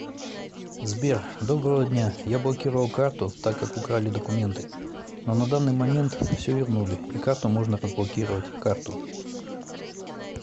сбер доброго дня я блокировал карту так как украли документы но на данный момент все вернули и карту можно разблокировать карту